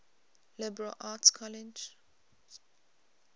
liberal arts colleges